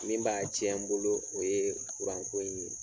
Min b'a tiɲɛ n bolo o ye kuranko in ye